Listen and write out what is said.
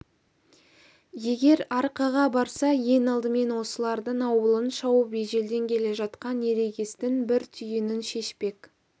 егер арқаға барса ең алдымен осылардың ауылын шауып ежелден келе жатқан ерегестің бір түйінін шешпек